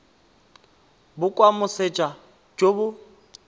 bo kwa moseja jo bo